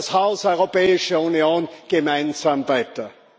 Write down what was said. Bauen wir das Haus Europäische Union gemeinsam weiter!